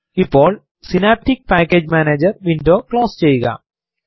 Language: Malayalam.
ഇപ്പോൾ synaptic package manager window close ചെയ്യുക